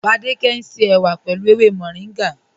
Fádẹkẹ̀ ń ṣe èwà pẹ̀lú èwè Mọ̀ríngá.